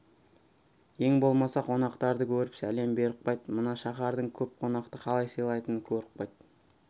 ең болмаса қонақтарды көріп сәлем беріп қайт мына шаһардың көп қонақты қалай сыйлайтынын көріп қайт